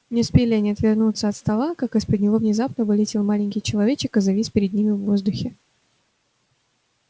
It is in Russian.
не успели они отвернуться от стола как из-под него внезапно вылетел маленький человечек и завис перед ними в воздухе